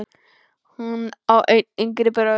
Hún á einn yngri bróður.